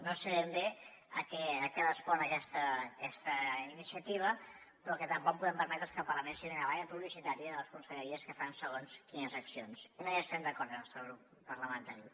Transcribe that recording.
no sé ben bé a què respon aquesta iniciativa però el que tampoc podem permetre és que el parlament sigui una tanca publicitària de les conselleries que fan segons quines accions i no hi estem d’acord el nostre grup parlamentari